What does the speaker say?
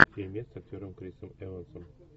фильмец с актером крисом эвансом